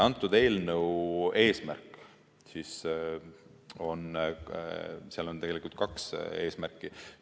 Antud eelnõul on tegelikult kaks eesmärki.